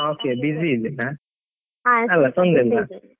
Okay busy ಇದ್ದೀರಾ, ತೊಂದ್ರೆ ಇಲ್ಲ.